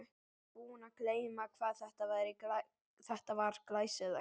Ég var búinn að gleyma hvað þetta var glæsilegt.